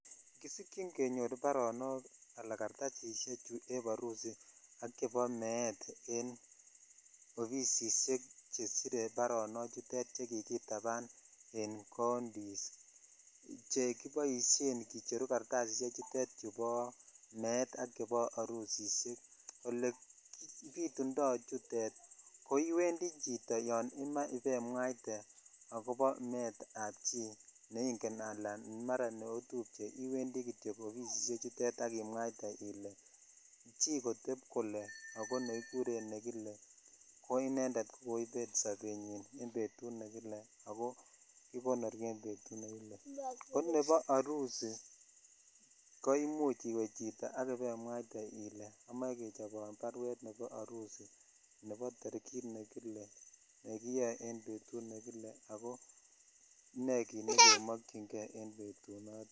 Kisijyin kenyor baronok ala kattasishek chu eb harusi ak chebo met en offisishek chekicherunen barok chutet che kikitapan en countys chekiboshen kicheru kartasishe tutet met ak chbo harusishek ole bitutoi chutet ko yon iwendi chito ibemwate akobo neingen ala mara neotupche iwendi kityok offisishe tutet ak imwaite ile chi kotep kole ko nekikuren nekile ko inended ko koibet sobenyin en betut ne kile ako kikonori en betut nekile ko nebo harusi ko imuch iwe chito ak ibaimwaite ile amoche kisirwan barwet nebo harusi nebo torikit ne kile nekiyoe en betut nekile ako ne kit nekemokyin kei betunoton.